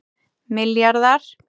milljarðar